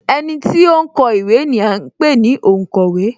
Ẹniti ó ń kọ ìwé ni à ń pè ní onkowe